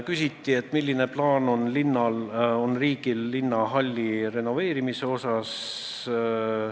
Küsiti, milline plaan on riigil linnahalli renoveerimise osas.